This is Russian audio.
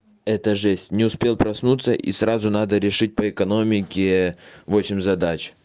это жесть не успел проснуться и сразу надо решить по экономике восемь задач